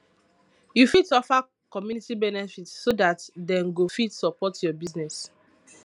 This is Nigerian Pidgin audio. you fit offer community benefit so dat dem go fit support your business